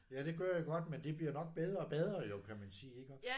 Ja det gør jeg godt men de bliver nok bedre og bedre jo kan man sige iggå